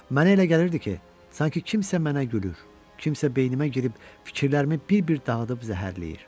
Mənə elə gəlirdi ki, sanki kimsə mənə gülür, kimsə beynimə girib fikirlərimi bir-bir dağıdıb zəhərləyir.